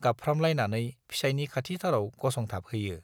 गाबफ्रामलायनानै फिसाइनि खाथिथाराव गसंथाबहैयो।